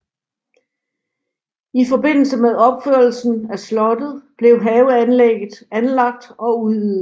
I forbindelse med opførelsen af slottet blev haveanlægget anlagt og udvidet